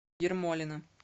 ермолино